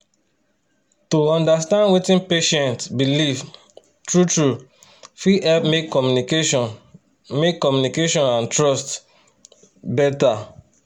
to understand wetin patient believe true-true fit help make communication make communication and trust better.